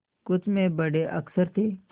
कुछ में बड़े अक्षर थे